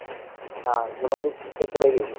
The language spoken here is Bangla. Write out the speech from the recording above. হ্যাঁ মোটামুটি তেইশে পরে গেছি